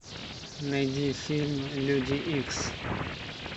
найди фильм люди икс